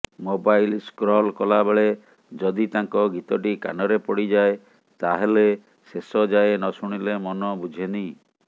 mobile scroll କଲାବେଳେ ଯଦି ତାଙ୍କ ଗୀତଟି କାନରେ ପଡ଼ିଯାଏ ତାହାଲେ ଶେଷ ଯାଏଁ ନଶୁଣିଲେ ମନ ବୁଝେନି